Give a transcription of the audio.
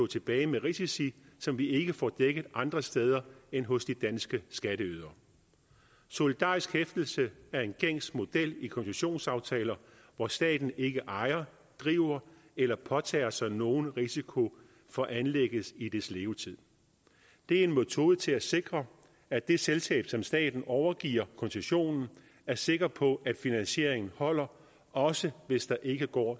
tilbage med risici som vi ikke får dækket andre steder end hos de danske skatteydere solidarisk hæftelse er en gængs model i koncessionsaftaler hvor staten ikke ejer driver eller påtager sig nogen risiko for anlægget i dets levetid det er en metode til at sikre at det selskab som staten overgiver koncessionen er sikker på at finansieringen holder også hvis det ikke går